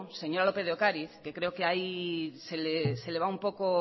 señora lópez de ocariz que creo que ahí disgrega un poco